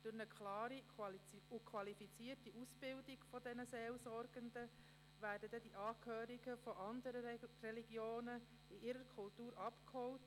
Durch eine klare und qualifizierte Ausbildung dieser Seelsorgenden würden die Angehörigen anderer Religionen in ihrer Kultur abgeholt.